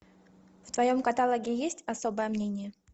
в твоем каталоге есть особое мнение